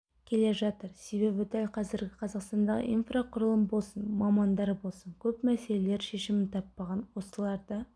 келе жатыр себебі дәл қазіргі қазақстандағы инфрақұрылым болсын мамандар болсын көп мәселелер шешімін таппаған осыларды